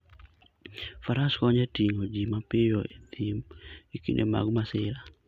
Faras konyo e ting'o ji mapiyo e thim e kinde mag masira, .